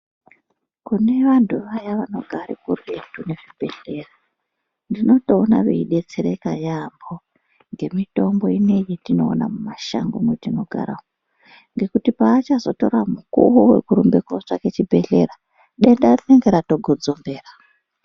Kune vantu vaya vanogara kuretu nezvibhedhlera, ndinotoona veidetsereka yaambo ngemitombo ineyi yetinoona mumashango metinogara umu, ngekuti paachazotora mukuwo wekurumbe kotsvake chibhedhlera, denda rinenge ratogodzombera.